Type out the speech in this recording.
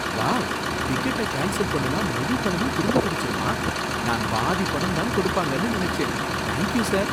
Wow! டிக்கெட்ட cancel பண்ணுனா முழு பணமும் திரும்ப கிடைச்சிருமா! நான் பாதி பணம் தான் கொடுப்பாங்கனு நினைச்சேன். Thank you sir.